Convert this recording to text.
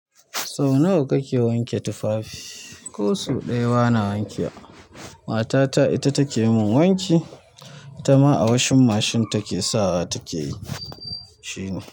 So nawa kake wanke tufafi? Ko so ɗaya bana wankewa matata ita take mun wanki, ita ma a washing machine take sawa take shine.